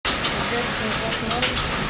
сбер тинькофф норм